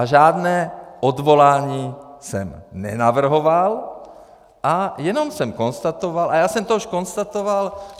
A žádné odvolání jsem nenavrhoval a jenom jsem konstatoval, a já jsem to už konstatoval...